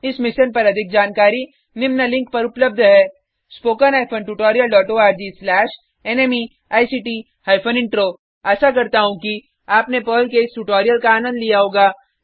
इस मिशन पर अधिक जानकारी निम्न लिंक पर उपलब्ध है spoken hyphen tutorial dot O R G slash NMEICT hyphen intro आशा करता हूँ कि आपने पर्ल के इस ट्यूटोरियल का आनंद लिया होगा